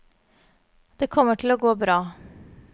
Det kommer til å gå bra.